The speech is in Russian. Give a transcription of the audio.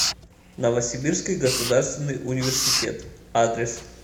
новосибирский государственный университет адрес